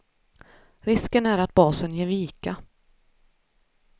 Risken är att basen ger vika.